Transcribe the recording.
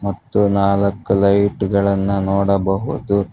ಮತ್ತ್ ನಾಲಕ್ಕ ಲೈಟ್ ಗಳನ್ನ ನೋಡಬಹುದು.